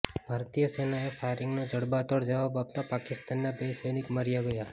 ભારતીય સેનાએ ફાયરિંગનો જડબાતોડ જવાબ આપતા પાકિસ્તાનના બે સૈનિક માર્યા ગયા